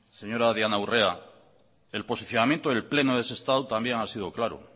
señora diana urrea el posicionamiento del pleno de sestao también ha sido claro